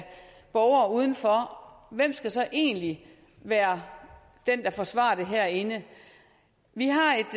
borgere udenfor hvem skal så egentlig være den der forsvarer det herinde vi har et